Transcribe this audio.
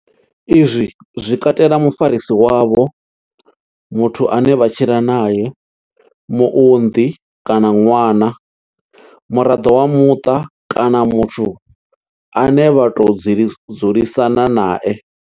Izwi zwi katela mufarisi wavho, muthu ane vha tshila nae, muunḓi kana ṅwana, muraḓo wa muṱa kana muthu ane vha tou dzulisana nae.